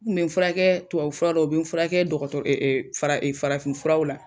U tun bɛ furakɛ tubabu furaw la, u bɛ n furakɛ dogorɔrɔ farafin furaraw la.